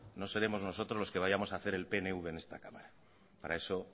no seremos nosotros los que vayamos hacer el pnv en esta cámara para eso